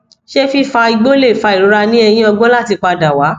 se fifa igbo le fa irora ni eyin ogbon lati pada wa